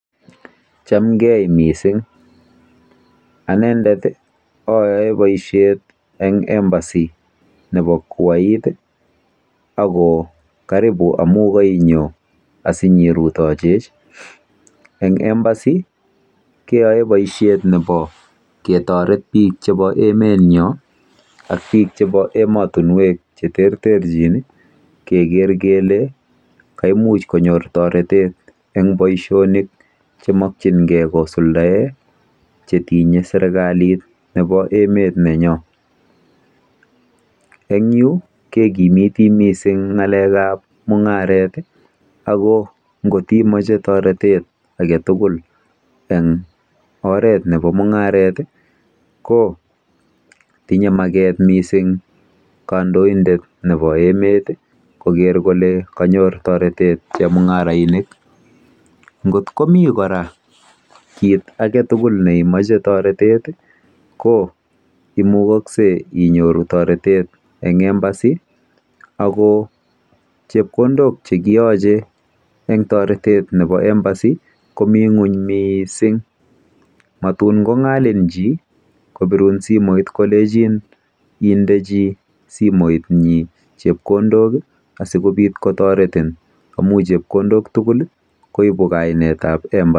"Chamgei missing'. Anendet ayae poishet eng embassy nepo Kuwait ako karibu amu kainyo asinyirutochech. Eng Embassy keyae poishet nepo ketaret piik chepo emenyo, ak piik chepo ematunwek che terterchin keker kele kemuch konyor taretet eng' poishonik chemakchin gei kosuldae che tinye serikalit nepo emet nenyo. En yu, kekimiti missing' ng'alek ap mung'aret i, ako ngot imache taretet age tugul eng' oret nepo mung'aret i , ko tinye maket missing' kandoindet nepo emet koker kole kanyor taretet chemung'arainik. Ngot komi kora koit age tugul ne imache taretet i, ko imugakse inyoru taretet eng' Embassy ako chepkondok che kiyache eng' taretet nepo Embassy ko mi ng'uny missing'. Matun kong'alin chi kopirun simoit kolechin indechi simoitnyi chepkondok asikopit kotaretin amun chepkondok tugul koipu kainetap Embassy."